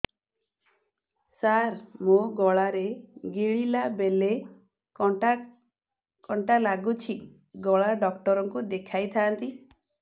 ସାର ମୋ ଗଳା ରେ ଗିଳିଲା ବେଲେ କଣ୍ଟା କଣ୍ଟା ଲାଗୁଛି ଗଳା ଡକ୍ଟର କୁ ଦେଖାଇ ଥାନ୍ତି